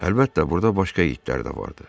Əlbəttə, burda başqa itlər də vardı.